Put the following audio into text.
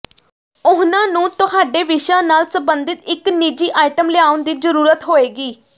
ਉਹਨਾਂ ਨੂੰ ਤੁਹਾਡੇ ਵਿਸ਼ਾ ਨਾਲ ਸੰਬੰਧਿਤ ਇਕ ਨਿੱਜੀ ਆਈਟਮ ਲਿਆਉਣ ਦੀ ਜ਼ਰੂਰਤ ਹੋਏਗੀ